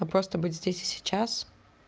а просто быть здесь и сейчас